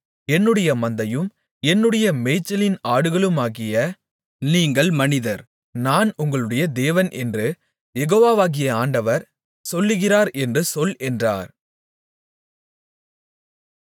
என்னுடைய மந்தையும் என்னுடைய மேய்ச்சலின் ஆடுகளுமாகிய நீங்கள் மனிதர் நான் உங்களுடைய தேவன் என்று யெகோவாகிய ஆண்டவர் சொல்லுகிறார் என்று சொல் என்றார்